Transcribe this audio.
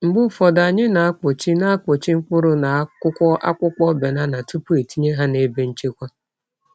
Mgbe ụfọdụ, anyị na-akpuchi na-akpuchi mkpụrụ n’akwụkwọ akpụkpọ banana tupu etinye ha n’ebe nchekwa.